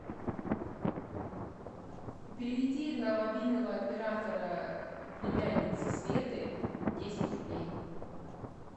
переведи на мобильного оператора племянницы светы десять рублей